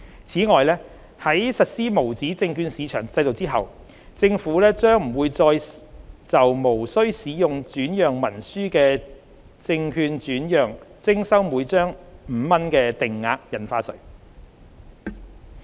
此外，在實施無紙證券市場制度後，政府將不會再就無須使用轉讓文書的證券轉讓徵收每張5元的定額印花稅。